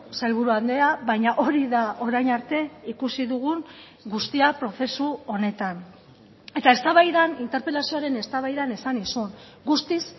sailburu andrea baina hori da orain arte ikusi dugun guztia prozesu honetan eta eztabaidan interpelazioaren eztabaidan esan nizun guztiz